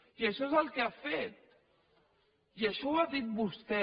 i això és el que ha fet i això ho ha dit vostè